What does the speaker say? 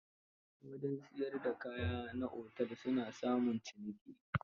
Wajen siyar da kayan na otel su na samun ciniki.